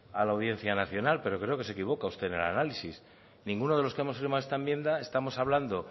a la audiencia nacional pero creo que se equivoca usted en el análisis ninguno de los que hemos firmado esta enmienda estamos hablando